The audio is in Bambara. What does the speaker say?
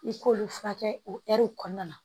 I k'olu furakɛ o kɔnɔna na